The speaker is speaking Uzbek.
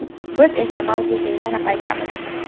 Biz esa mavzuga yana qaytamiz...